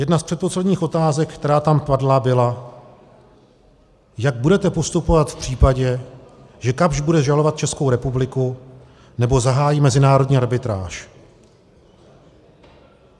Jedna z předposledních otázek, která tam padla, byla: Jak budete postupovat v případě, že Kapsch bude žalovat Českou republiku nebo zahájí mezinárodní arbitráž?